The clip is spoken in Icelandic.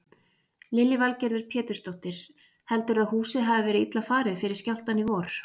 Lillý Valgerður Pétursdóttir: Heldurðu að húsið hafi verið illa farið fyrir skjálftann í vor?